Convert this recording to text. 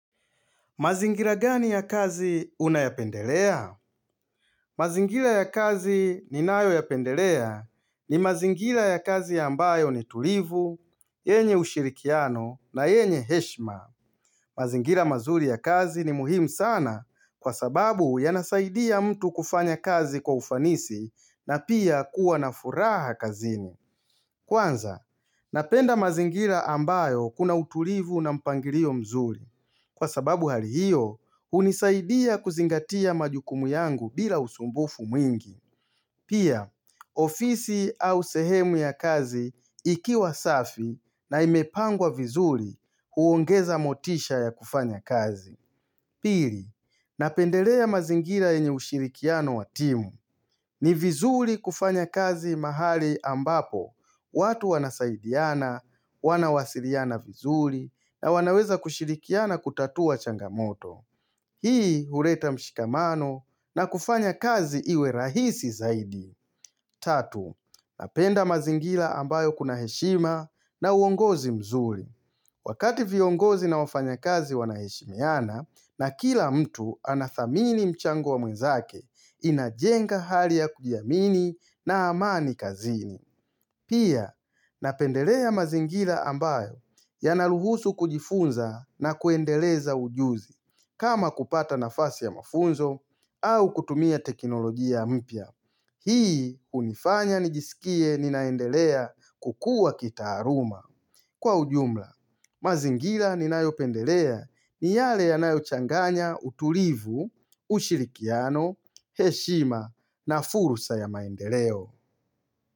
Mazingila gani ya kazi unayapendelea? Hhh mazingila ya kazi ninayo yapendelea ni mazingila ya kazi ambayo ni tulivu, yenye ushirikiano na yenye heshma. Mmhh mazingila mazuri ya kazi ni muhimu sana kwa sababu yanasaidia mtu kufanya kazi kwa ufanisi na pia kuwa na furaha kazini. Hh Kwanza, napenda mazingira ambayo kuna utulivu na mpangilio mzuri. Hhh Kwa sababu hali hiyo, hunisaidia kuzingatia majukumu yangu bila usumbufu mwingi. Mmh Pia, ofisi au sehemu ya kazi ikiwa safi na imepangwa vizuri huongeza motisha ya kufanya kazi. Pili, napendelea mazingira yenye ushirikiano wa timu. Ni vizuli kufanya kazi mahali ambapo. Hh ukh watu wanasaidiana, wanawasiliana vizuli, na wanaweza kushirikiana kutatua changamoto. Hhh Hii huleta mshikamano na kufanya kazi iwe rahisi zaidi. Mchh Tatu, napenda mazingila ambayo kuna heshima na uongozi mzuri. Wakati viongozi na wafanya kazi wanaheshimiana na kila mtu anathamini mchango wa mwenzake inajenga hali ya kujiamini na amani kazini. Pia, napendelea mazingila ambayo yanaruhusu kujifunza na kuendeleza ujuzi kama kupata nafasi ya mafunzo au kutumia teknolojia mpya. Mhh Hii unifanya nijisikie ninaendelea kukua kitaaluma. Kwa ujumla, mazingila ninayo pendelea ni yale yanayo changanya utulivu, ushirikiano, heshima na fursa ya maendeleo.